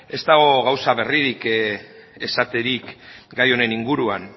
ez dago gauza berririk esaterik gai honen inguruan